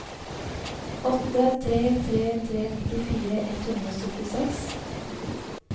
åtte tre tre tre nittifire ett hundre og syttiseks